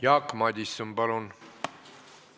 Jaak Madison, palun!